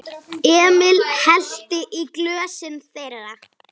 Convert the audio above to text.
Emil hellti í glösin þeirra.